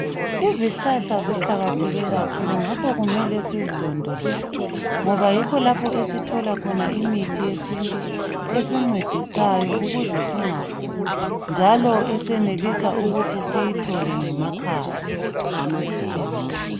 Izihlahla ziqakatheke kakhulu ngakho kumele sizilondoloze ngoba yikho lapho esithola khona imithi yesintu esincedisayo ukuze singaguli njalo esenelisa ukuthi siyithole ngemakhaya.